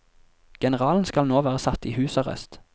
Generalen skal nå være satt i husarrest.